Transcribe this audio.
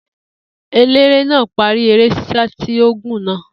Eléré náà parí eré ṣíṣá tí ó gùn náà